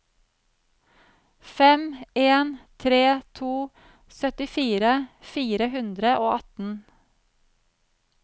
fem en tre to syttifire fire hundre og atten